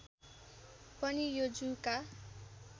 पनि यो जुका